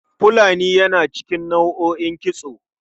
Fulani yana cikin nau'o'in kitso.